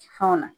Fɛnw na